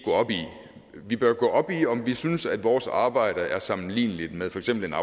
vi bør gå op i om vi synes at vores arbejde er sammenligneligt med for eksempel en